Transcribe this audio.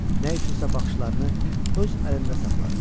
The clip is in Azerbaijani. Nə üçünsə baxışlarını öz əlində saxladı.